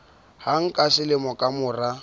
hang ka selemo ka mora